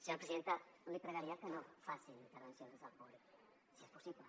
senyora presidenta li pregaria que no facin intervencions des del públic si és possible